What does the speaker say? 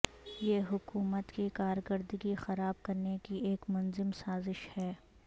یہ حکومت کی کارکردگی خراب کرنے کی ایک منظم سازش ہے